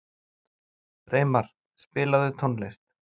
Reimar, spilaðu tónlist.